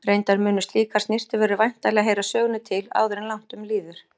Reyndar munu slíkar snyrtivörur væntanlega heyra sögunni til áður en langt um líður.